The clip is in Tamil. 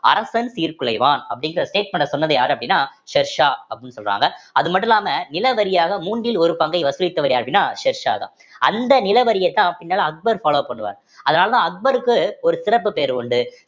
அரசன் சீர்குலைவான் அப்படிங்கிற statement அ சொன்னது யாரு அப்படின்னா ஷெர்ஷா அப்படின்னு சொல்றாங்க அது மட்டும் இல்லாம நிலவரியாக மூன்றில் ஒரு பங்கை வசூலித்தவர் யாரு அப்படின்னா ஷெர்ஷாதான் அந்த நிலவரியைத்தான் பின்னால அக்பர் follow பண்ணுவார் அதனாலதான் அக்பருக்கு ஒரு சிறப்பு பெயர் உண்டு